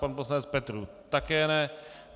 Pan poslanec Petrů také ne.